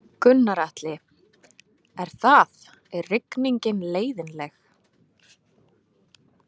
Gunnar Atli: Er það, er rigningin leiðinleg?